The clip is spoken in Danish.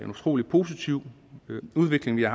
utrolig positiv udvikling vi har